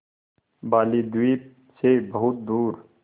बालीद्वीप सें बहुत दूर